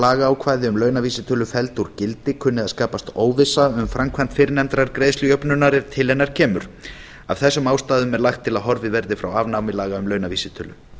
lagaákvæði um launavísitölu felld úr gildi kunni að skapast óvissa um framkvæmd fyrrnefndrar greiðslujöfnunar ef til hennar kemur af þessum ástæðum er lagt til að horfið verði frá afnámi laga um launavísitölu